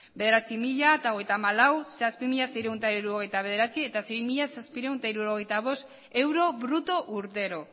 bederatzi mila hogeita hamalau zazpi mila seiehun eta hirurogeita bederatzi eta sei mila zazpiehun eta hirurogeita bost euro bruto urtero